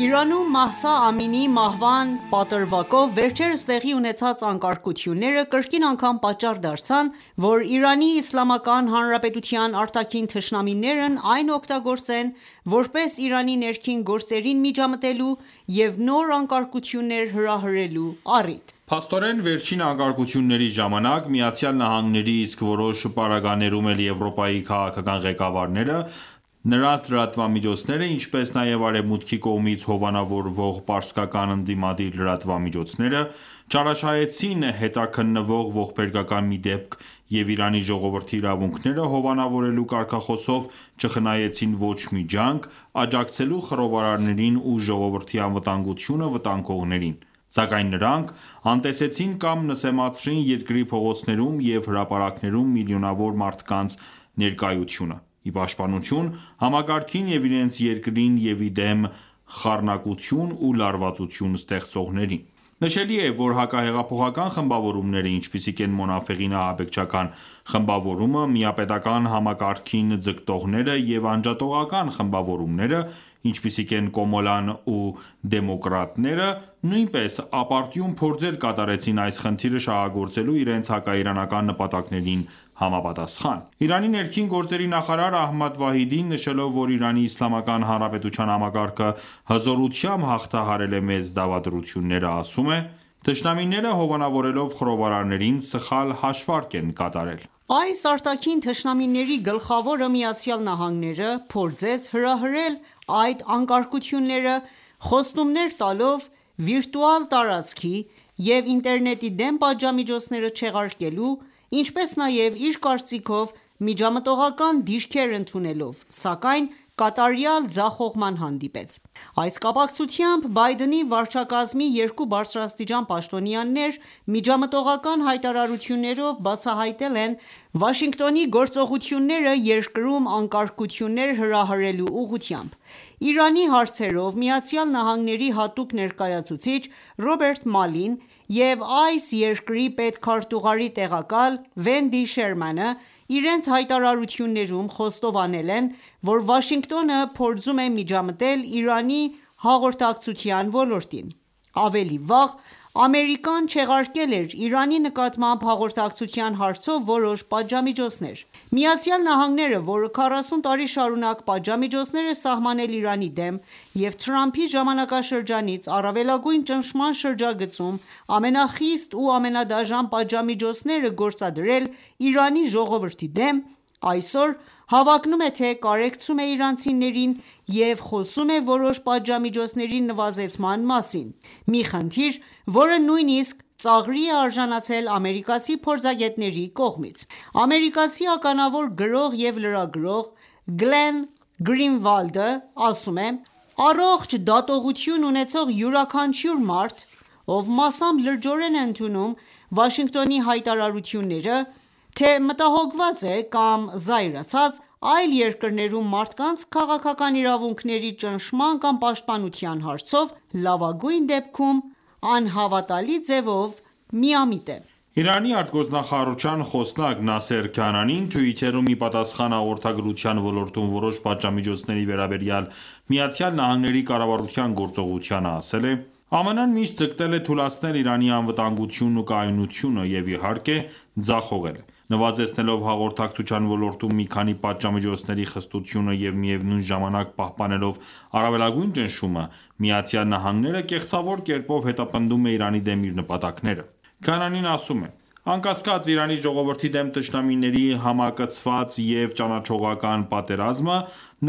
Իրանում, Մահսա Ամինիի մահվան պատրվակով, վերջերս տեղի ունեցած անկարգությունները, կրկին անգամ պատճառ դարձան, որ ԻԻՀ արտաքին թշնամիներն այն օգտագործեն, որպես Իրանի ներքին գործերին միջամտելու և նոր անկարգություններ հրահրելու առիթ։ Փաստորեն, վերջին անկարգությունների ժամանակ ԱՄՆ-ի, իսկ որոշ պարագաներում էլ Եվրոպայի քաղաքական ղեկավարները, նրանց լրատվամիջոցները, ինչպես նաև արևմուտքի կողմից հովանավորվող պարսկական ընդդիմադիր լրատվամիջոցները, չարաշահեցին հետաքննվող ողբերգական մի դեպք և Իրանի ժողովրդի իրավունքները հովանավորելու կարգախոսով ,չխնայեցին ոչ մի ջանք աջակցելու խռովարարներին ու ժողովրդի անվտանգությունը վտանգողներին, սակայն նրանք անտեսեցին կամ նսեմացրին երկրի փողոցներում և հրապարակներում միլիոնավոր մարդկանց ներկայությունը՝ ի պաշտպանություն համակարգին և իրենց երկրին և իդեմ խառնակություն ու լարվածություն ստեղծողների:Նշելի է,որ հակահեղափոխական խմբավորումները, ինչպիսիք են՝ մոնաֆեղին ահաբեկչական խմբավորումը, միապետական համակարգին ձգտողները և անջատողական խմբավորումները, ինչպիսիք են՝ «Կոմալան» ու «Դեմոկրատները», նույնպես ապարդյուն փորձեր կատարեցին այս խնդիրը շահագործելու՝ իրենց հակաիրանական նպատակներին համապատասխան:Իրանի ներքին գործերի նախարար Ահմադ Վահիդին, նշելով, որ Իրանի Իսլամական Հանրապետության համակարգը հզորությամբ հաղթահարել է մեծ դավադրությունները, ասում է.«Թշնամիները հովանավորելով խռովարարներին սխալ հաշվարկ են կատարել»: Այս արտաքին թշնամիների գլխավորը՝ ԱՄՆ-ը, փորձեց հրահրել այդ անկարգությունները՝ խոստումներ տալով վիրտուալ տարածքի և ինտերնետի դեմ պատժամիջոցները չեղարկելու, ինչպես նաև իր կարծիքով միջամտողական դիրքեր ընդունելով, սակայն կատարյալ ձախողման հանդիպեց։ Այս կապակցությամբ Բայդենի վարչակազմի երկու բարձրաստիճան պաշտոնյաներ միջամտողական հայտարարություններով բացահայտել են Վաշինգտոնի գործողությունները երկրում անկարգություններ հրահրելու ուղղությամբ։ Իրանի հարցերով ԱՄՆ-ի հատուկ ներկայացուցիչ Ռոբերտ Մալլին և այս երկրի պետքարտուղարի տեղակալ Վենդի Շերմանը ,իրենց հայտարարություններում խոստովանել են, որ Վաշինգտոնը փորձում է միջամտել Իրանի հաղորդակցության ոլորտին։ Ավելի վաղ Ամերիկան ​​չեղարկել էր Իրանի նկատմամբ հաղորդակցության հարցով որոշ պատժամիջոցներ։ ԱՄՆ-ը, որը 40 տարի շարունակ պատժամիջոցներ է սահմանել Իրանի դեմ և Թրամփի ժամանակաշրջանից առավելագույն ճնշման շրջագծում ամենախիստ ու ամենադաժան պատժամիջոցները գործադրել Իրանի ժողովրդի դեմ ,այսօր հավակնում է թե՝ կարեկցում է իրանցիներին և խոսում է որոշ պատժամիջոցների նվազեման մասին, մի խնդիր, որը նույնիսկ ծաղրի է արժանացել ամերիկացի փորձագետների կողմից։ Ամերիկացի ականավոր գրող և լրագրող Գլեն Գրինվալդն ասում է.«Առողջ դատողություն ունեցող յուրաքանչյուր մարդ, ով մասամբ լրջորեն է ընդունում Վաշինգտոնի հայտարարությունները թե՝մտահոգված է կամ զայրացած, այլ երկրներում մարդկանց քաղաքական իրավունքների ճնշման կամ պաշտպանության հարցով լավագույն դեպքում անհավատալի ձևով միամիտ է»: Իրանի արտգործնախարարության խոսնակ Նասեր Քանանին Twitter-ում, ի պատասխան հաղորդակցության ոլորտում որոշ պատժամիջոցների վերաբերյալ ԱՄՆ-ի կառավարության գործողությանը ասել է.«ԱՄՆ-ը միշտ ձգտել է թուլացնել Իրանի անվտանգությունն ու կայունությունը, և, իհարկե, ձախողել է:Նվազեցնելով հաղորդակցության ոլորտում մի քանի պատժամիջոցների խստությունը և միևնույն ժամանակ պահպանելով առավելագույն ճնշումը, ԱՄՆ-ը ​​կեղծավոր կերպով հետապնդում է Իրանի դեմ իր նպատակները»։Քանանին ասում է.«Անկասկած, Իրանի ժողովրդի դեմ թշնամիների համակցված և ճանաչողական պատերազմը,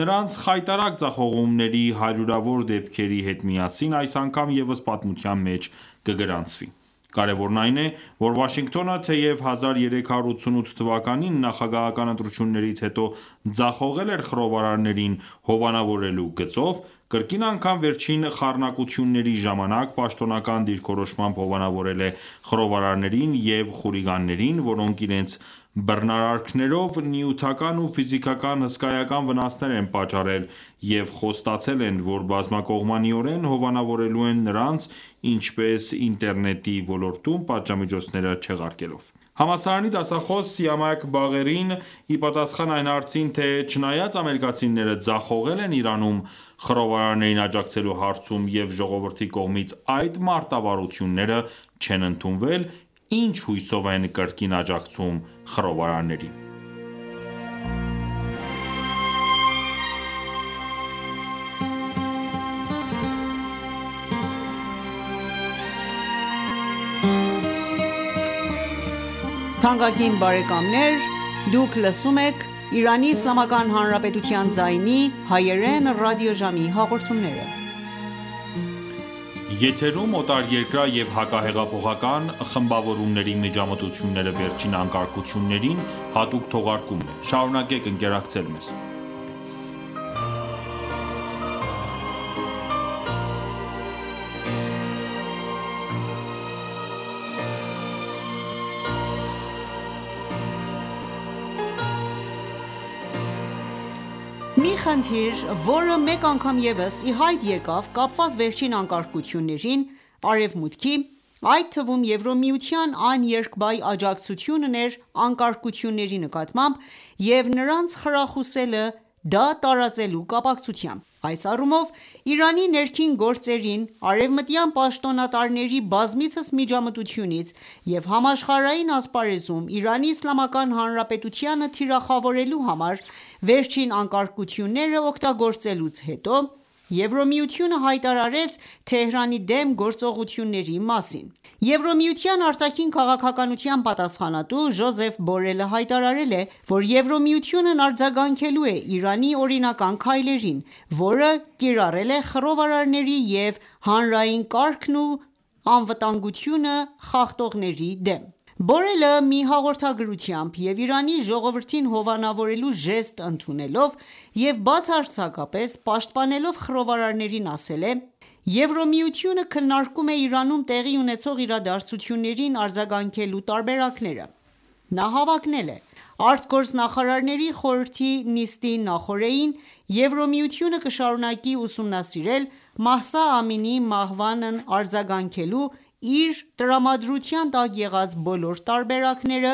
նրանց խայտառակ ձախողումների հարյուրավոր դեպքերի հետ միասին այս անգամ ևս պատմության մեջ կգրանցվի »։Կարևորն այն է,որ Վաշինգտոնը թեև 1388 թվականին Նախագահական ընտրություններից հետո ձախողել էր խռովարարներին հովանավորելու գծով, կրկին անգամ վերջին խառնակությունների ժամանակ պաշտոնական դիրքորոշմամբ հովանավորել է խռովարարներին և խուլիգաններին, որոնք իրենց բռնարարքներով նյութական ու ֆիզիկական հսկայական վնասներ են պատճառել և խոստացել են ,որ բազմակողմանիորեն հովանավորելու են նրանց ,ինչպես ինտերնետի ոլորտում պատժամիջոցները չեղարկելով:Համալսարանի դասախոս Սիամաք Բաղերին ,իպատասխան այն հարցին թե՝ «Չնայած ամերիկացիները ձախողել են Իրանում խռովարարներին աջակցելու հարցում և ժողովրդի կողմից այդ մարտավարությունները չեն ընդունվել,ի՞նչ հույսով են կրկին աջակցում խռովարարներին»։ Մի խնդիր, որը մեկ անգամ ևս ի հայտ եկավ՝ կապված վերջին անկարգություններին, Արևմուտքի, այդ թվում՝ Եվրամիության աներկբա աջակցությունն էր անկարգությունների նկատմամբ և նրանց խրախուսելը դա տարածելու կապակցությամբ:Այս առումով, Իրանի ներքին գործերին արևմտյան պաշտոնատարների բազմիցս միջամտությունից և համաշխարհային ասպարեզում Իրանի Իսլամական Հանրապետությանը թիրախավորելու համար վերջին անկարգությունները օգտագործելուց հետո, Եվրամիությունը հայտարարեց Թեհրանի դեմ գործողությունների մասին:Եվրամիության արտաքին քաղաքականության պատասխանատու Ժոզեֆ Բորելը հայտարարել է, որ Եվրամիությունն արձագանքելու է Իրանի օրինական քայլերին ,որը կիրառել է խռովարարների և հանրային կարգն ու անվտանգությունը խախտողների դեմ:Բորելը մի հաղորդագրությամբ և Իրանի ժողովրդին հովանավորելու ժեստ ընդունելով և բացարձակապես պաշտպանելով խռովարարներին ասել է.«Եվրամիությունը քննարկում է Իրանում տեղի ունեցող իրադարձություններին արձագանքելու տարբերակները»:Նա հավակնել է.«Արտգործնախարարների խորհրդի նիստի նախօրեին Եվրամիությունը կշարունակի ուսումնասիրել Մահսա Ամինիի մահվանն արձագանքելու իր տրամադրության տակ եղած բոլոր տարբերակները,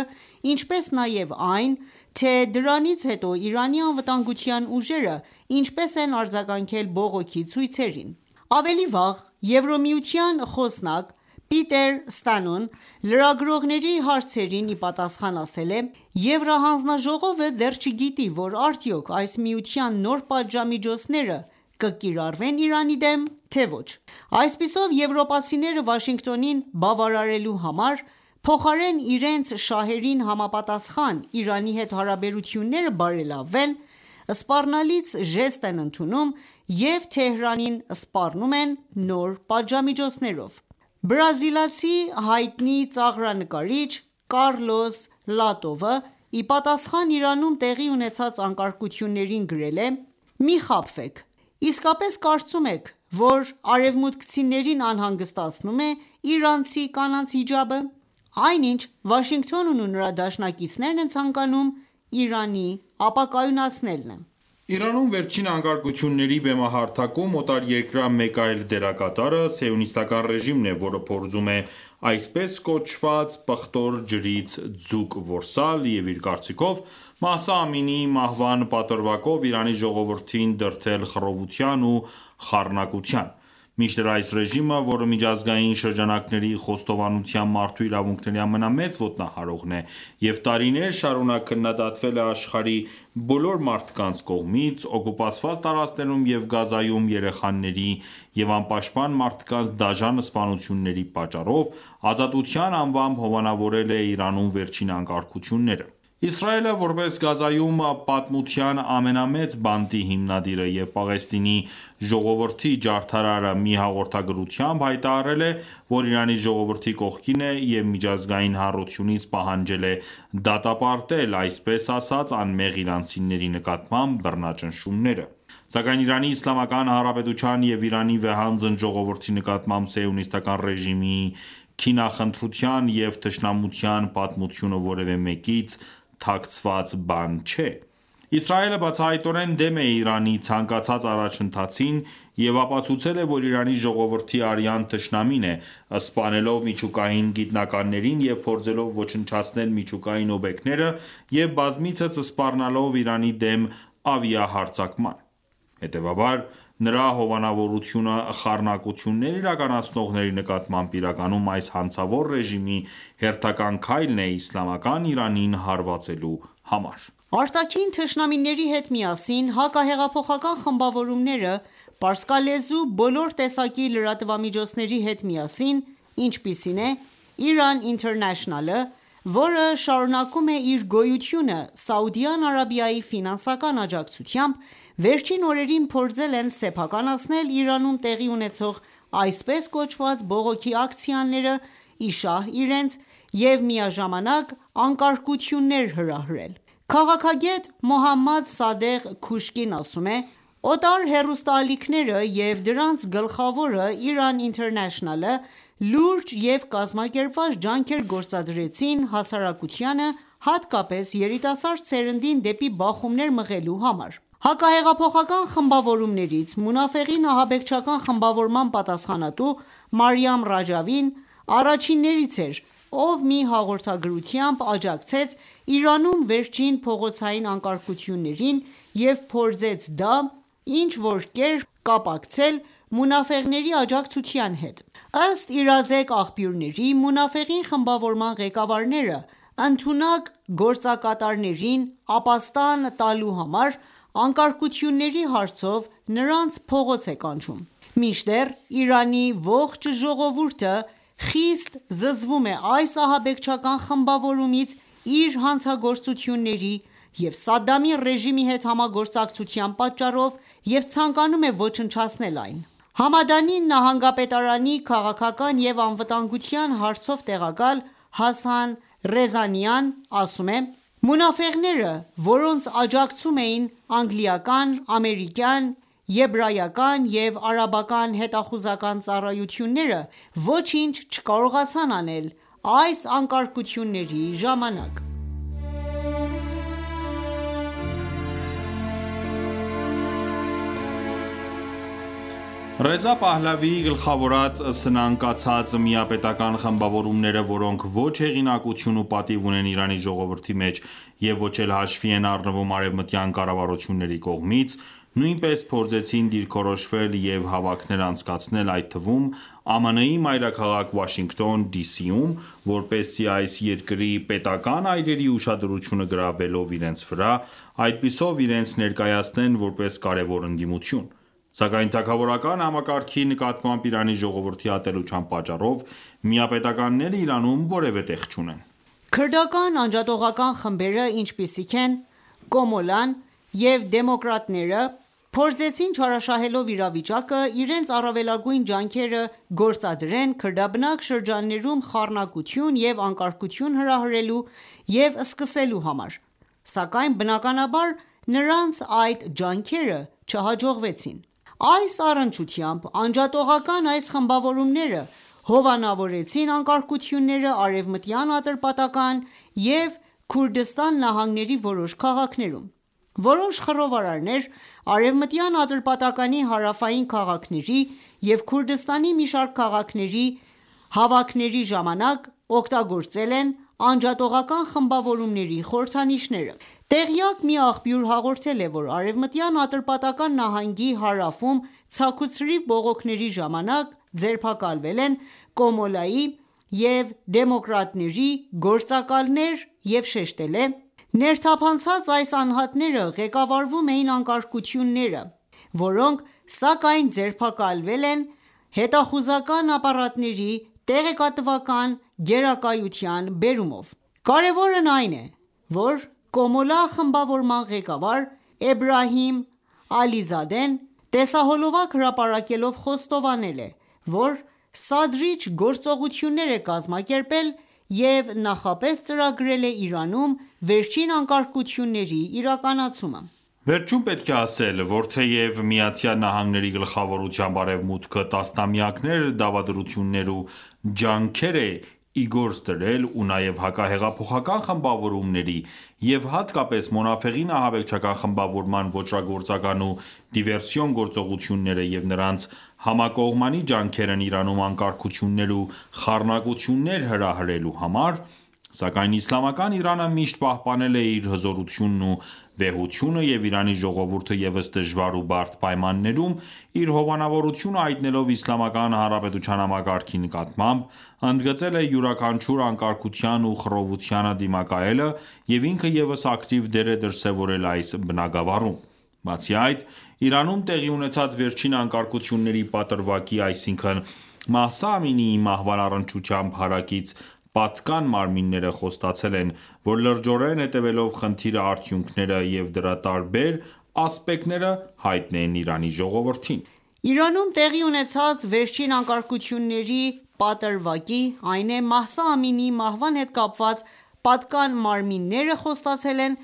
ինչպես նաև այն, թե դրանից հետո Իրանի անվտանգության ուժերը ինչպես են արձագանքել բողոքի ցույցերին»։ .Ավելի վաղ Եվրամիության խոսնակ Պիտեր Ստանոն լրագրողների հարցերին ի պատասխան ասել էր՝.«Եվրահանձնաժողովը դեռ չգիտի, որ արդյոք այս միության նոր պատժամիջոցները կկիրառվեն Իրանի դեմ, թե ոչ»:Այսպիսով եվրոպացիները Վաշինգտոնին բավարարելու համար, փոխարեն իրենց շահերին համապատասխան Իրանի հետ հարաբերությունները բարելավեն, սպառնալից ժեստ են ընդունում և Թեհրանին սպառնում են նոր պատժամիջոցներով։ Բրազիլացի հայտնի ծաղրանկարիչ Կառլոս Լատովը, ի պատասխան Իրանում տեղի ունեցած անկարգություններին, գրել է.«Մի խաբվեք: Իսկապե՞ս կարծում եք, որ արևմուտքցիներին անհանգստացնում է իրանցի կանանց հիջաբը։ Այն ինչ Վաշինգտոնն ու նրա դաշնակիցներն են ցանկանում ՝Իրանի ապակայունացնելն է»: Իրանում վերջին անկարգությունների բեմահարթակում, օտարերկրյա մեկ այլ դերակատարը՝ սիոնիստական ​​ռեժիմն է, որը փորձում է այսպես կոչված պղտոր ջրից ձուկ որսալ,և իր կարծիքով՝ Մահսա Ամինիի մահվան պատրվակով Իրանի ժողովրդին դրդել խռովության ու խառնակության։ Մինչդեռ այս ռեժիմը, որը միջազգային շրջանակների խոստովանությամբ ՝ մարդու իրավունքների ամենամեծ ոտնահարողն է և տարիներ շարունակ քննադատվել է աշխարհի բոլոր մարդկանց կողմից՝օկուպացված տարածքներում և Գազայում երեխաների և անպաշտպան մարդկանց դաժան սպանությունների պատճառով, ազատության անվամբ հովանավորել է Իրանում վերջին անկարգությունները: Իսրայելը ,որպես Գազայում պատմության ամենամեծ բանտի հիմնադիրը և Պաղեստինի ժողովրդի ջարդարարը մի հաղորդագրությամբ հայտարարել է,որ Իրանի ժողովրդի կողքին է և միջազգային հանրությունից պահանջել է դատապարտել այսպես ասած անմեղ իրանցիների նկատկմամաբ բռնաճնշումները: Սակայն Իրանի Իսլամական Հանրապետության և Իրանի վեհանձն ժողովրդի նկատմամբ սիոնիստական ​​ռեժիմի քինախնդրության և թշնամության պատմությունը որևէ մեկից թաքցված բան չէ:Իսրայելը բացահայտորեն դեմ է Իրանի ցանկացած առաջընթացին և ապացուցել է, որ Իրանի ժողովրդի արյան թշնամին է՝ սպանելով միջուկային գիտնականներին և փորձելով ոչնչացնել միջուկային օբյեկտները և բազմիցս սպառնալով Իրանի դեմ ավիահարձակման:Հետևաբար, նրա հովանավորությունը խառնակություններ իրականացնողների նկատմամբ իրականում այս հանցավոր ռեժիմի հերթական քայլն է՝Իսլամական Իրանին հարվածելու համար: Արտաքին թշնամիների հետ միասին, հակահեղափոխական խմբավորումները, պարսկալեզու բոլոր տեսակի լրատվամիջոցների հետ միասին, ինչպիսին է՝ Iran International-ը, որը շարունակում է իր գոյությունը Սաուդյան Արաբիայի ֆինանսական աջակցությամբ, վերջին օրերին փորձել են սեփականացնել Իրանում տեղի ունեցող այսպես կոչված բողոքի ակցիաները՝ ի շահ իրենց և միաժամանակ անկարգություններ հրահրել։ Քաղաքագետ Մոհամմադ Սադեղ Քուշկին ասում է.«Օտար հեռուստաալիքները, և դրանց գլխավորը՝Iran International-ը ,լուրջ և կազմակերպված ջանքեր գործադրեցին հասարակությանը, հատկապես երիտասարդ սերնդին, դեպի բախումներ մղելու համար»։ Հակահեղափոխական խմբավորումներից մունաֆեղին ահաբեկչական խմբավորման պատասխանատու Մարիամ Ռաջավին առաջիններից էր, ով մի հաղորդագրությամբ աջակցեց Իրանում վերջին փողոցային անկարգություններին և փորձեց դա ինչ-որ կերպ կապակցել մունաֆեղների աջակցության հետ։ Ըստ իրազեկ աղբյուրների՝ մոնաֆեղ խմբավորման ղեկավարը, ընդունակ գործակատարներին ապաստան տալու համար, անկարգությունների հարցով նրանց փողոց է կանչում: Մինչդեռ Իրանի ողջ ժողովուրդը խիստ զզվում է այս ահաբեկչական խմբավորումից՝ իր հանցագործությունների և Սադամի ռեժիմի հետ համագործակցության պատճառով և ցանկանում է ոչնչացնել այն:Համեդանի նահանգապետարանի քաղաքական և անվտանգության հարցով տեղակալ ՝Հասան Ռեզանիան ասում է.«Մունաֆեղները, որոնց աջակցում էին անգլիական, ամերիկյան, եբրայական և արաբական հետախուզական ծառայությունները, ոչինչ չկարողացան անել այս անկարգությունների ժամանակ»։ Ռեզա Փահլավիի գլխավորած սնանկացած միապետական ​​խմբավորումները, որոնք ոչ հեղինակություն ու պատիվ ունեն Իրանի ժողովրդի մեջ և ոչ էլ հաշվի են առնվում արևմտյան կառավարությունների կողմից, նույնպես փորձեցին դիրքորոշվել և հավաքներ անցկացնել, այդ թվում՝ ԱՄՆ-ի մայրաքաղաք Վաշինգտոն ԴԻ.ՍԻ-ում, որպեսզի այս երկրի պետական ​​այրերի ուշադրությունը գրավելով իրենց վրա, այդպիսով իրենց ներկայացնեն ,որպես կարևոր ընդդիմություն: Սակայն թագավորական համակարգի նկատմամբ Իրանի ժողովրդի ատելության պատճառով միապետականները Իրանում որևէ տեղ չունեն։ Քրդական անջատողական խմբերը, ինչպիսիք են «Կոմալան» և «Դեմոկրատները», փորձեցին չարաշահելով իրավիճակը, իրենց առավելագույն ջանքերը գործադրեցին քրդաբնակ շրջաններում խառնակություն ու անկարգություն հրահրելու և սկսելու համար, սակայն բնականաբար նրանց այդ ջանքերը չհաջողվեցին։ Այս առնչությամբ անջատողական այս խմբավորումները հովանավորեցին անկարգությունները արևմտյան Ատրպատական և Քուրդիստան նահանգների որոշ քաղաքներում։ Որոշ խռովարարներ, արևմտյան Ատիպատականի հարավային քաղաքների և Քուրդստանի մի շարք քաղաքների հավաքների ժամանակ օգտագործել են անջատողական խմբավորումների խորհրդանիշները։ Տեղյակ մի աղբյուր հաղորդել է ,որ արևմտյան Ատրպատական նահանգի հարավում ցաք ու ցրիվ բողոքների ժամանակ ձերբակալվել են «Կոմալա»-ի և «Դեմոկրատների» գործակալներ և շեշտել է.«Ներթափանած այս անհատները ղեկավարում էին անկարգությունները, որոնք սակայն ձերբակալել են հետախուզական ապառատների տեղեկատվական գերակայության բերումով»:Կարևորն այն է, որ «Կոմալա» խմբավորման ղեկավար Էբրահիմ Ալիզադեն տեսահոլովակ հրապարակելով խոստովանել է, որ սադրիչ գործողություններ է կազմակերպել և նախապես ծրագրել է Իրանում վերջին անկարգությունների իրականացումը: Վերջում պետք է ասել, որ թեև ԱՄՆ-ի գլխավորությամբ արևմուտքը տասնամեակներ դավադրություններ ու ջանքեր է իգործ դրել ,ու նաև հակահեղափոխական խմբավորումների և հատկապես մունաֆեղին ահաբեկչական խմբավորման ոճրագործական ու դիվերսիոն գործողությունները և նրանց համակողմանի ջանքերն Իրանում անկարգություններ ու խառնակություններ հրահրելու համար ,սակայն Իսլամական Իրանը միշտ պահպանել է իր հզորությունն ու վեհությունը և Իրանի ժողովուրդը ևս դժվար ու բարդ պայմաններում իր հովանավորությունը հայտնելով Իսլամական հանրապետության համակարգի նկատմամբ, ընդգծել է յուրաքանչյուր անկարգության ու խռովությանը դիմակայելը և ինքը ևս ակտիվ դեր է դրսևորել այս բնագավառում: Բացի այդ, Իրանում տեղի ունեցած վերջին անկարգությունների պատրվակի, այսինքն՝Մահսա Ամինիի մահվան առնչությամբ հարակից, պատկան մարմինները խոստացել են, որ լրջորեն հետևելով խնդիրը արդյունքները և դրա տարբեր ասպեկտները հայտնեն Իրանի ժողովրդին։ Իրանում տեղի ունեցած վերջին անկարգությունների պատրվակի, այն է Մահսա Ամինիի մահվան հետ կապված պատկան մարմինները խոստացել են,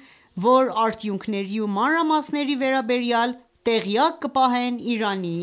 որ արդյունքների ու մանրամասների վերաբերյալ տեղյակ կպահեն Իրանի